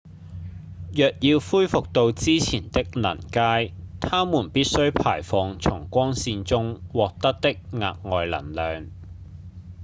若要恢復到之前的能階它們必須排放從光線中獲得的額外能量